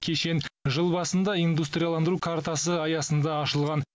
кешен жыл басында индустрияландыру картасы аясында ашылған